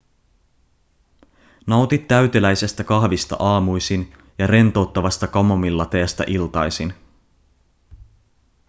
nauti täyteläisestä kahvista aamuisin ja rentouttavasta kamomillateestä iltaisin